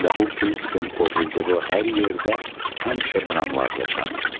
Və bu prinsipin pozulduğu hər yerdə həmişə dramlar yaşanıb.